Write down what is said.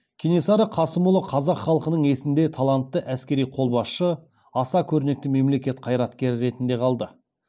кенесары қасымұлы қазақ халқының есінде талантты әскери қолбасшы аса көрнекті мемлекет қайраткері ретінде қалды